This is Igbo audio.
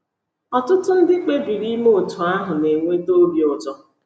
Ọtụtụ ndị kpebiri ime otú ahụ na - enweta obi ụtọ.